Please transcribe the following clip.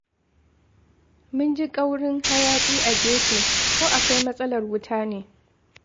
Mun ji ƙaurin hayaƙi a gefe. Ko akwai matsalar wuta ne?